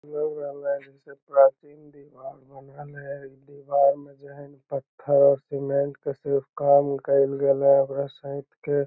इ लग रहले हन से दीवार में जो है ना पत्थर सीमेंट के सिर्फ काम कईल गैला ओकरा सेएत के ।